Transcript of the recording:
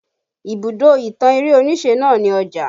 Ibùdó ìtàn eré onise náà ni Ọjà